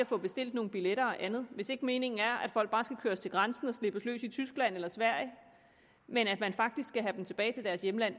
få bestilt nogle billetter og andet hvis ikke meningen er at folk bare skal køres til grænsen og slippes løs i tyskland eller sverige men at man faktisk skal have dem tilbage til deres hjemland